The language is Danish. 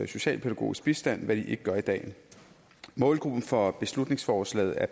socialpædagogisk bistand hvad de ikke gør i dag målgruppen for beslutningsforslaget er